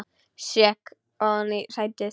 Sekk ofan í sætið.